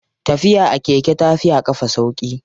Tafiya a keke tafi a ƙafa sauƙi.